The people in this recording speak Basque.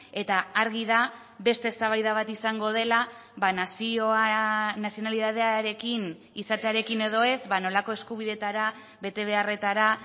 eta argi da beste eztabaida bat izango dela nazioa nazionalitatearekin izatearekin edo ez nolako eskubideetara betebeharretara